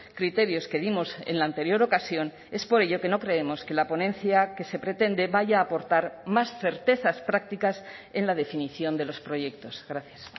criterios que dimos en la anterior ocasión es por ello que no creemos que la ponencia que se pretende vaya a aportar más certezas prácticas en la definición de los proyectos gracias